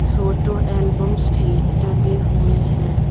Photo albums भी टंगे हुए हैं।